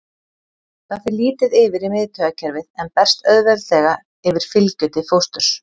Það fer lítið yfir í miðtaugakerfið en berst auðveldlega yfir fylgju til fósturs.